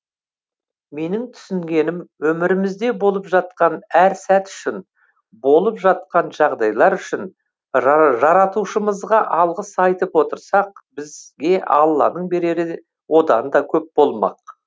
менің түсінгенім өмірімізде болып жатқан әр сәт үшін болып жатқан жағдайлар үшін жаратушымызға алғыс айтып отырсақ бізге алланың берері одан да көп болмақ